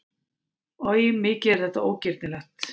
Oj, mikið er þetta ógirnilegt!